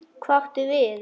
Hvað áttu við?